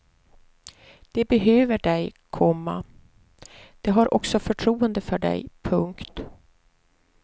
De behöver dig, komma de har också förtroende för dig. punkt